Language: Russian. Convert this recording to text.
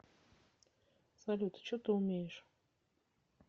салют че ты умеешь